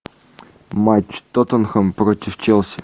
матч тоттенхэм против челси